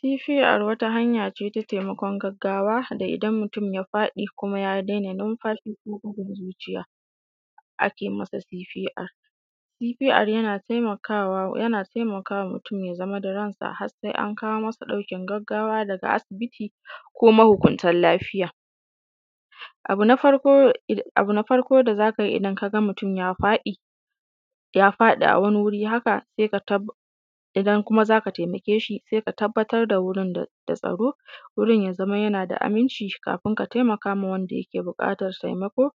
Kifi a ruwa wata hanyace ta taimakon gaggawa da idan mutum ya faɗi ko ya dena numfashi, ko bugun zuciya, ake masa fifi’a. Fifia’ari, yana taimakawa mutum ya zama da ransa har sai an kama masa ɗaukin gaggawa daga asibiti ko mahukunta lafiya. Abu na farko da zaka yi idan kaga mutum ya faɗi, ya faɗi a wani wuri haka sai ka tabb, idan kuma zaka taimake shi sai ka tabbatar da wurin da tsaro, wurin ya zamo yana da aminci kafin ka taimaka wanda yake buƙatan taimako.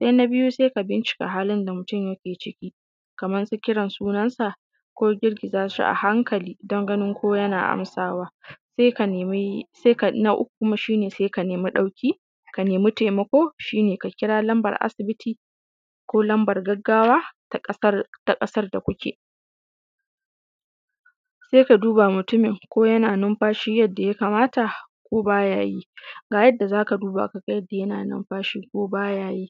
Sai na biyu sai ka bincika halin da mutum yake ciki, kamar su kiran sunan sa, ko girgiza shi a hankali, don ganin ko yana amsawa. Sai ka nemi, Na uku kuma shi ne sai ka nemi, ɗauki, ka nemi taimako, shi ne ka kira numbar asibiti, lambar gaggawa ta ƙasar, ta ƙasar da kuke. Sai ka duba mutumin ko yana numfashi yadda ya kamata ko baya yi?. Ga yadda zaka duba kaga yadda yana numfashi ko baya yi: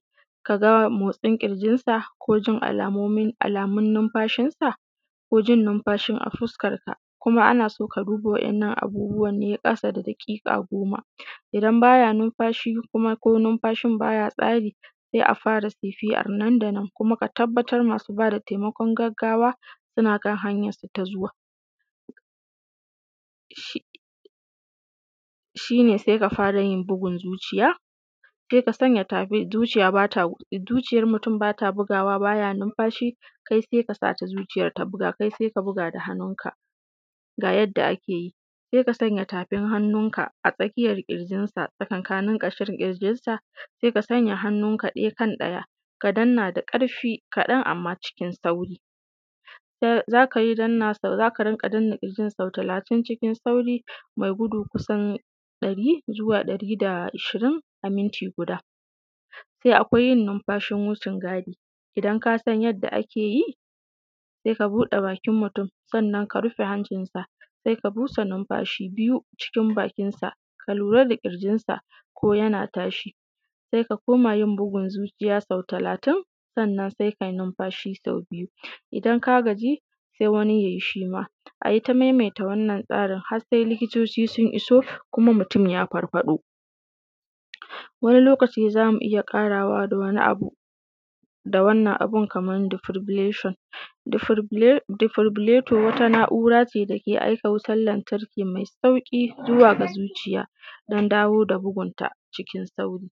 kaga motsin ƙirjinsa, ko jin alamomi, alamun numfashinsa, ko jin numfashin a fuskarka, kuma ana so ka duba wa’innan abubuwan ne ƙasa da daƙiƙa goma. Idan baya numfashi kuma, ko numfashi baya tsari, sai a fara sirfia’an nan da nan, kuma ka tabbatar masu bada taimakon gaggawa suna kan hanyansu ta zuwa. Shi, shi ne sai ka fara yin bugun zuciya, sai ka sanya tafin, zuciya bata, zuciyar mutum bata bugawa, baya numfashi kai sai sata zuciyar ta buka, kai sai ka buga da hannunka. Ga yadda ake yi: sai ka sanya tafin hannunka, tsakiyar ƙirjinsa, tsakankanin ƙashin ƙirjinsa, sai ka sanya hannuka ɗaya kan ɗaya, ka danna da ƙarfi, kaɗan amma cikin sauri. Zaka yi, zaka rinƙa danna ƙirjin sau talatin cikin sauri mai gudu kusan ɗari, zuwa ɗari da ashirin a minti guda. Sai akwai yin numfashin wucin gadi, idan kasan yadda ake yi, sai ka buɗe bakin mutum, sannan ka rufe hancinsa, sai ka busa numfashi biyu cikin baki sa, ka lura da ƙirjinsa ko yana tashi, sai ka koma yin bugun zuciya sau talatin, sannan sai kai numfashi sau biyu, idan ka gaji sai wani ya yi shima, ayi ta maimaita wannan tsarin har sai likitoci sun iso, kuma mutum ya farfaɗo. Wani lokaci zamu iya ƙarawa da wani abu, da wannan abun kamar dufurbuleshan, dufubuleto wata na’ura ce da ke aika wutan lantarki mai sauƙi zuwa ga zuciya don dawo da bugunta, cikin sauri.